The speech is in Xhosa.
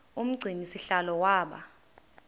umgcini sihlalo waba